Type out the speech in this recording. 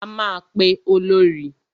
A máa pe Olorì.